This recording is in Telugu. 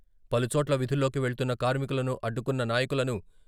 పలుచోట్ల విధుల్లోకి వెళ్తున్న కార్మికులను అడ్డుకున్న నాయకులను..